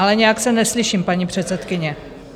Ale nějak se neslyším, paní předsedkyně.